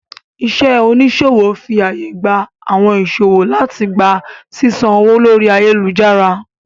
Iṣẹ́ oníṣòwò fi àyè gba àwọn ìṣòwò láti gba sísan owó lórí ayélujára